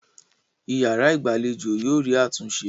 Ìyàrá-ìgbàlejò yóò rí àtúnṣe.